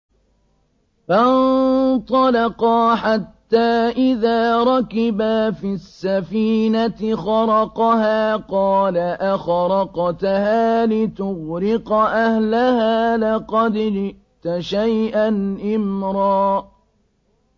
فَانطَلَقَا حَتَّىٰ إِذَا رَكِبَا فِي السَّفِينَةِ خَرَقَهَا ۖ قَالَ أَخَرَقْتَهَا لِتُغْرِقَ أَهْلَهَا لَقَدْ جِئْتَ شَيْئًا إِمْرًا